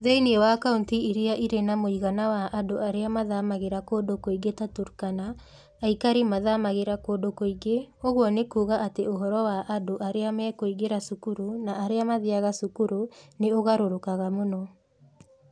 Thĩinĩ wa county iria irĩ na mũigana wa andũ arĩa mathamagĩra kũndũ kũngĩ ta Turkana, aikari mathamagĩra kũndũ kũingĩ, ũguo nĩ kuuga atĩ ũhoro wa andũ arĩa mekũingĩra cukuru na arĩa mathiaga cukuru nĩ ũgarũrũkaga muno.